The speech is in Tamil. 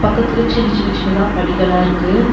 பக்கத்துல சின்ன சின்ன சின்னதா படிகலா இருக்கு.